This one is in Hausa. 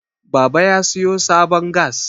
baba ya siyo sabon gas